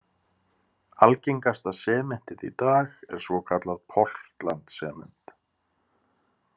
Algengasta sementið í dag er svokallað portland sement.